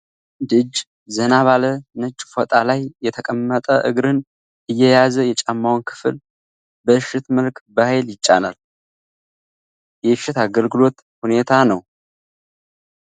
አንድ እጅ ዘና ባለ ነጭ ፎጣ ላይ የተቀመጠ እግርን እየያዘ የጫማውን ክፍል በእሽት መልክ በኃይል ይጫናል። የእሽት አገልግሎት ሁኔታ ነው።